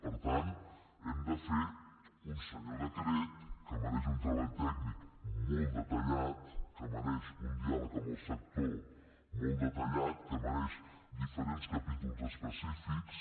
per tant hem de fer un senyor decret que mereix un treball tècnic molt detallat que mereix un diàleg amb el sector molt detallat que mereix diferents capítols específics